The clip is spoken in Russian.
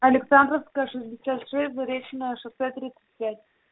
александровская шестьдесят шесть заречное шоссе тридцать пять